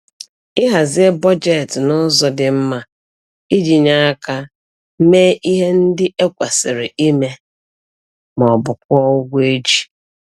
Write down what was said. Ịhazie bọjetị n'ụzọ dị mma iji nye aka mee ihe ndị e kwesịrị ime maọbụ kwụọ ụgwọ e ji